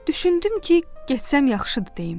Düşündüm ki, getsəm yaxşıdır deyim.